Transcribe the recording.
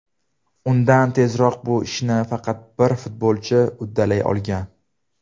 Undan tezroq bu ishni faqat bir futbolchi uddalay olgan.